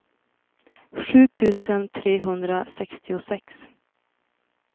sju tusen trehundrasextiosex